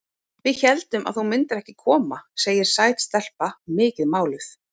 Við héldum að þú myndir ekki koma, segir sæt stelpa, mikið máluð.